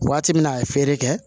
Waati min na a ye feere kɛ